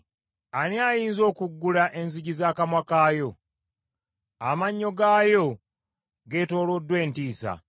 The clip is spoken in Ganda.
Ani ayinza okuggula enzigi z’akamwa kaayo? Amannyo gaayo geetooloddwa entiisa.